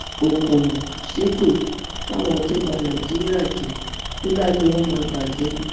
òkùnnù ṣépè fáwọn tó bá nàìjíríà jẹ ó láyé wọn máa bàjẹ ni